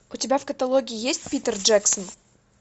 у тебя в каталоге есть питер джексон